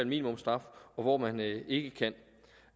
minimumsstraf og hvor man ikke kan